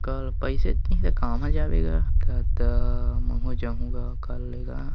कल पइसे च नइ हे त का मा जाबे गा दद्दा महू जाहु गा कल के गा --